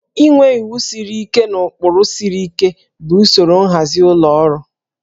Inwe iwu na ụkpụrụ siri ike bụ usoro nhazi ụlọ ọrụ